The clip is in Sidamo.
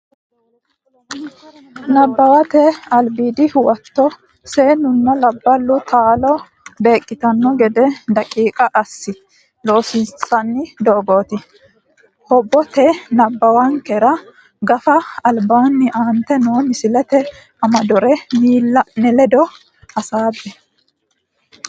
Nabbawate Albiidi Huwato Seennunna labballu taalo beeqqitanno gede daqiiqa assi Loossinnanni Doogote Hobbaate nabbawankera Gafa albaanni aante noo misillate amadore miilla ne ledo hasaabbe.